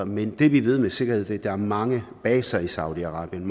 men det vi ved med sikkerhed er at der er mange magtbaser i saudi arabien